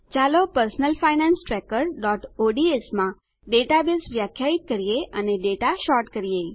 ચાલો personal finance trackerઓડ્સ માં ડેટાબેઝ વ્યાખ્યાયિત કરીએ અને ડેટા સૉર્ટ કરીએ